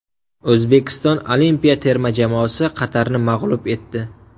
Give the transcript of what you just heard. O‘zbekiston olimpiya terma jamoasi Qatarni mag‘lub etdi.